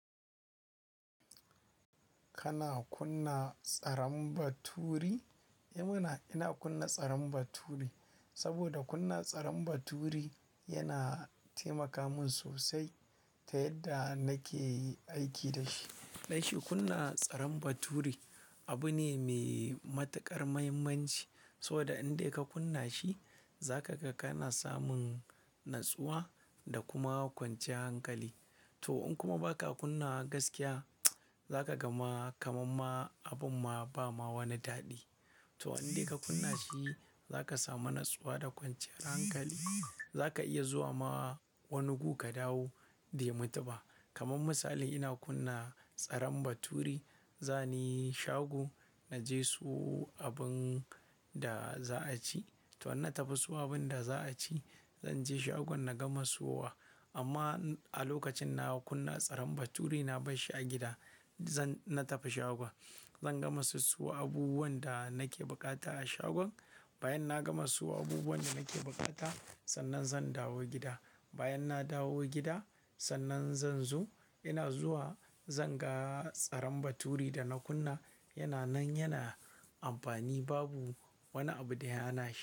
Kana kunna tsarin baturi? Eh mana, ina kunna tsarin baturi saboda kunna tsarin baturi yana taimaka min sosai ta yadda nake aiki da shi. Ɗai shi kunna tsarin baturi abu ne me matuƙar mahimmanci, saboda in dai ka kunna shi, zaka ga kana samun natsuwa da kuma kwanciyar hankali. To in kuma ba ka kunna wa gaskiya, zaka ga ma kamamma abin ma ba ma wani daɗi. To in dai ka kunna shi zaka samu natsuwa da kwanciyar hankali. Zaka iya zuwa ma wani gun ka dawo bai mutuba. Kaman misali ina kunna tsarin baturi, zani shago na je siyo abin da za'a ci. To in na tafi siyo abin da za'a ci, zan je shagon na gama siyowa. Amma a lokacin na kunna tsarin baturi na bar shi a gida. Zan-- na tafi shagon, zan gama sissiyo abubuwan da nake bukata a shagon. Bayan na gama siyo abubuwan da nake bukata, sannan zan dawo gida. Bayan na dawo gida, sannan zan zo, ina zuwa zan ga tsarin baturi da na kunna yana nan, yana amfani babu wani abu da ya hana shi.